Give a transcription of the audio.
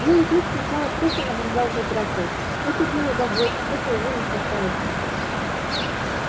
белый клык сначала просто наблюдал за дракой это дело богов это его не касается